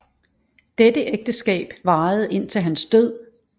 Dette ægteskab varede indtil hans død